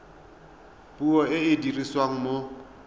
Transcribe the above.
puo e e dirisiwang mo